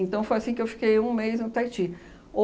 foi assim que eu fiquei um mês no Taiti.